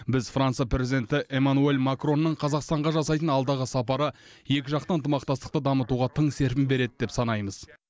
біз франция президенті эмманюэль макронның қазақстанға жасайтын алдағы сапары екіжақты ынтымақтастықты дамытуға тың серпін береді деп санаймыз